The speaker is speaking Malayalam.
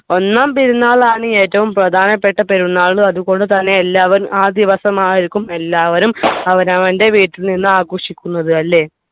ഒന്നാം പെരുന്നാളാണ് ഏറ്റവും പ്രധാനപ്പെട്ട പെരുന്നാൾ അതുപോലെതന്നെ എല്ലാവരും ആ ദിവസമായിരിക്കും എല്ലാവരും അവനവൻ്റെ വീട്ടിൽ നിന്ന് ആഘോഷിക്കുന്നത് അല്ലെ